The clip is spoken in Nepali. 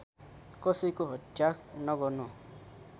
कसैको हत्या नगर्नु